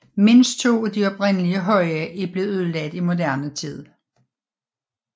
Mindst to af de oprindelige høje er blevet ødelagt i moderne tid